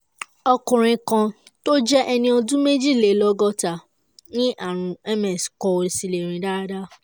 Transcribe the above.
ọkùnrin kan tó jẹ́ ẹni ọdún méjìlélọ́gọ́ta ní ààrùn ms kò sì lè rìn dáadáa